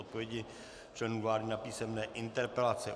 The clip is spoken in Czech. Odpovědi členů vlády na písemné interpelace